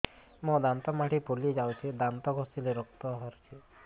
ମୋ ଦାନ୍ତ ମାଢି ଫୁଲି ଯାଉଛି ଦାନ୍ତ ଘଷିଲେ ରକ୍ତ ବାହାରୁଛି